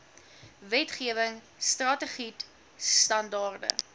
wetgewing strategied standaarde